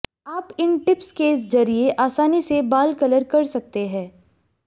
आप इन टिप्स के जरिए आसानी से बाल कलर कर सकते हैं